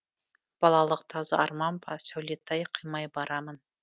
балалық таза арман ба сәулетай қимай барамын